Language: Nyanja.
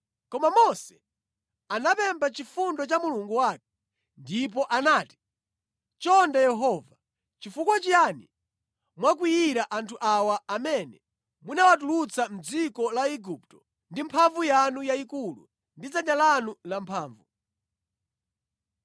Koma Mose anapempha chifundo cha Mulungu wake ndipo anati, “Chonde Yehova, chifukwa chiyani mwakwiyira anthu awa amene munawatulutsa mʼdziko la Igupto ndi mphamvu yanu yayikulu ndi dzanja lanu lamphamvu.